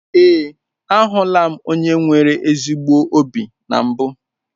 Ee, ahụla m onye nwere ezi obi na mbụ.